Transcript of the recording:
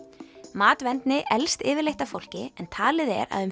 matvendni eldist yfirleitt af fólki en talið er að um